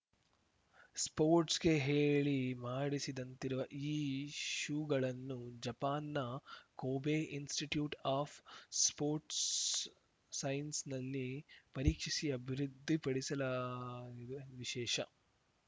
ಸ್ಪೋಟ್ಸ್‌ರ್‍ಗೆ ಹೇಳಿ ಮಾಡಿಸಿದಂತಿರುವ ಈ ಶೂಗಳನ್ನು ಜಪಾನ್‌ನ ಕೊಬೆ ಇನ್ಸಿಟಿಟ್ಯೂಟ್‌ ಆಫ್‌ ಸ್ಟೋರ್ಟ್ಸ್ ಸೈನ್ಸ್‌ನಲ್ಲಿ ಪರೀಕ್ಷಿಸಿ ಅಭಿವೃದ್ಧಿಪಡಿಸಿಲಾಗಿದ ವಿಶೇಷ